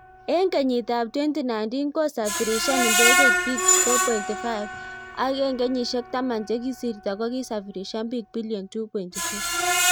Eng kenyit ap 2019 kosafirishan ndegeit bik 4.5,ak eng kenyishek taman chekisirto ko safirishan bik bilion 2.4